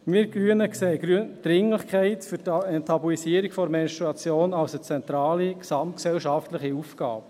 Wir Grünen erachten die Dringlichkeit der Enttabuisierung der Menstruation als eine zentrale gesamtgesellschaftliche Aufgabe.